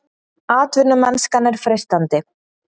Atvinnumennskan er freistandi